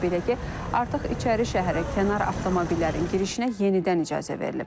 Belə ki, artıq İçərişəhərə kənar avtomobillərin girişinə yenidən icazə verilib.